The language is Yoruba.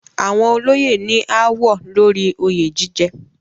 Àwọn olóyè ní ááwọ̀ lórí oyè jíjẹ.